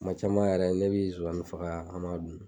Kuma caman yɛrɛ ne bi zonzani faga an ma b'a dun